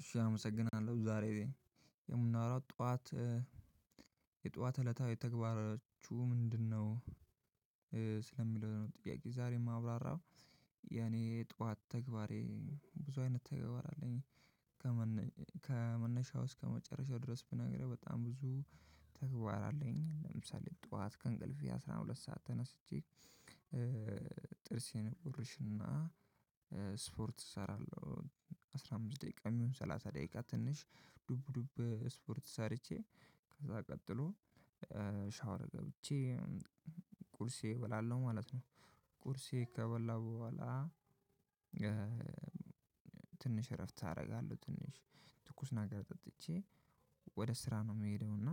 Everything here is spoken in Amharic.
እሺ አመሰግናለሁ ዛሬ የምናወራው ጠዋት የጠዋት እለታዊ ተግባራችሁ ምንድነው? ስለሚለው ነው ጥያቄ ዛሬ የማብራራው የኔ ጠዋት ተግባሬ ብዙ አይነት ተግባር አለኝ። ከመነሻው እስከመጨረሻው ድረስ ብናገርህ በጣም ብዙ ተግባር አለኝ ለምሳሌ ጠዋት ከእንቅልፌ አስራ ሁለት ሰዓት ተነስቼ። ጥርሴን እቦርሽና ስፖርት እሰራለሁ አስራ አምስት ደቂቃ የሚሆን ሰላሳ ደቂቃ ትንሽ ዱብ ዱብ ስፖርት ሰርቼ ከዛ ቀጥሎ ሻወር ገብቼ ቁርሴ እበላለው ማለት ነው። ቁርሴ ከበላሁ በኋላ። ትንሽ እረፍት አደርጋለሁ ትንሽ ትኩስ ነገር ጠጥቼ ወደ ስራ ነው የምሄደው። እና